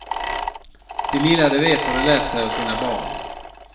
Det lilla de vet har de lärt sig av sina barn.